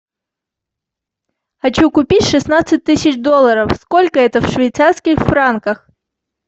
хочу купить шестнадцать тысяч долларов сколько это в швейцарских франках